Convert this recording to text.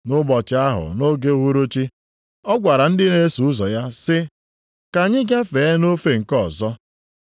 Nʼụbọchị ahụ nʼoge uhuruchi, ọ gwara ndị na-eso ụzọ ya sị, “Ka anyị gafee nʼofe nke ọzọ.”